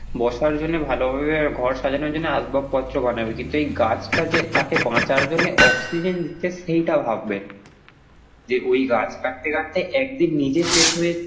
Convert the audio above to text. বসার জন্যে ভালোভাবে ঘর সাজানোর জন্যে আসবাবপত্র বানাবে কিন্তু এই গাছটা যে তাকে বাঁচার জন্যে oxygen দিচ্ছে সেইটা ভাববেন যে ঐ গাছ কাটতে কাটতে একদিন নিজে শেষ হয়ে,